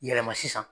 Yɛlɛma sisan